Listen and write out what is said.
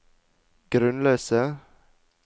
grunnløse